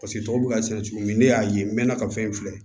Paseke tɔw bɛ ka sɛnɛ cogo min ne y'a ye n mɛɛnna ka fɛn filɛ